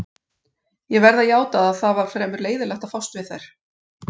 Ég verð að játa að það var fremur leiðinlegt að fást við þær.